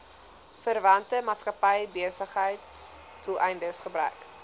verwante maatskappybesigheidsdoeleindes gebruik